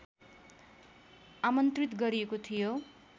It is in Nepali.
आमन्त्रित गरिएको थियो